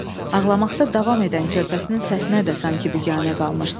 Ağlamaqda davam edən körpəsinin səsinə də sanki biganə qalmışdı.